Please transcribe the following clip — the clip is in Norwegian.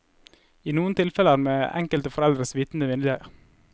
I noen tilfeller med enkelte foreldres vitende vilje.